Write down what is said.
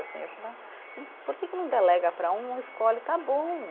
Eu falava, por que que não delega para um, escolhe, está bom.